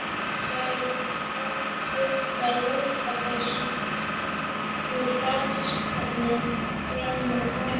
Nær í þykka lopapeysu úr fataskáp frammi á gangi.